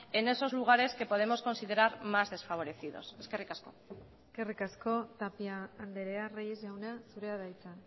en esos lugares que podemos considerar más desfavorecidos eskerrik asko eskerrik asko tapia andrea reyes jauna zurea da hitza